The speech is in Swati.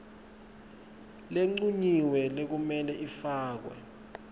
lencunyiwe lekumele ifakwe